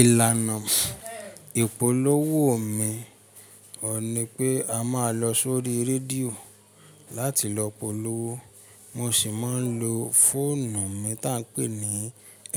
Ìlànà ìpolówó mi ò ní pé a máa lọ sórí rédíò láti lọ polówó. Mo sì máa ń lo fóònù mi ta n pè ní